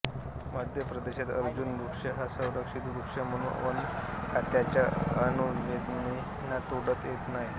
मध्य प्रदेशात अर्जुन वृक्ष हा संरक्षित वृक्ष म्हणून वनखात्याच्या अनुज्ञेविना तोडता येत नाही